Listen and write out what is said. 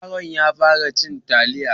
Yaron ya fara cin taliya.